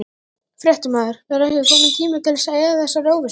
Fréttamaður: Er ekki kominn tími til að eyða þessari óvissu?